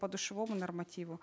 подушевому нормативу